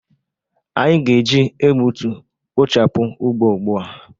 Anyị ga-eji egbutu kpochapụ ugbo ugbu a.